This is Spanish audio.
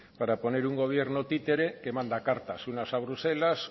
para poner un gobierno títere que manda cartas unas a bruselas